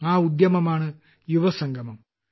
ആ ഉദ്യമമാണ് യുവസംഗമം